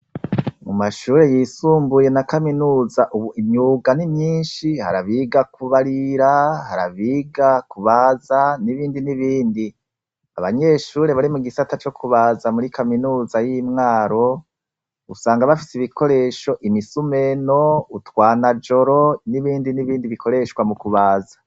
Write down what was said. Mumashure yisumbuye na kaminuza ubu imyuga ni myishi, hari abiga kubarira, hari abiga kubaza n'ibindi n'ibindi, aba nyeshuri bari mugisata co kubaza muri kaminuza y'imwaro usanga bafise ibikoresho, imisumeno, utwanajoro n'ibindi n'ibindi bikoreshwa mukubaza.